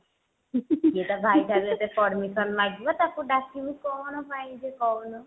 ସିଏ ତା ଭାଇ ଠାରୁ ଯଦି permission ମାଗିବ ତାକୁ ଡାକିବୁ କଣ ପାଇଁ ଯେ କହୁନୁ